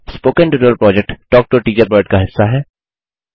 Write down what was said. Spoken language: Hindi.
spoken tutorial project talk to a teacher project का हिस्सा है